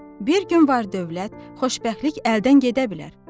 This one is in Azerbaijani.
Bir gün var dövlət, xoşbəxtlik əldən gedə bilər.